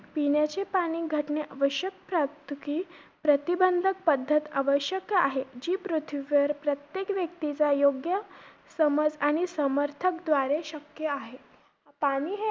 पिण्याची पाणी घटने आवश्यक का असतं? कि प्रतिबंधक पद्धत आवश्यक आहे, जी पृथ्वीवर प्रत्येक व्यक्तीचा योग्य समज आणि समर्थक द्वारे शक्य आहे.